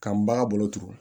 Ka n bagan bolo turu